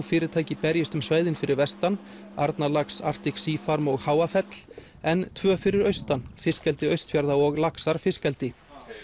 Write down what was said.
fyrirtæki berjist um svæðin fyrir vestan Arnarlax Arctic Sea farm og Háafell en tvö fyrir austan fiskeldi Austfjarða og laxar fiskeldi